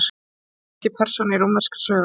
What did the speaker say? hektor er ekki persóna í rómverskri sögu